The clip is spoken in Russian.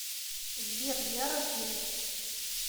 сбер я разберусь